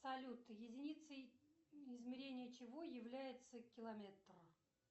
салют единицей измерения чего является километр